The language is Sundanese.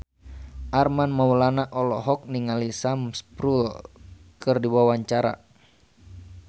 Armand Maulana olohok ningali Sam Spruell keur diwawancara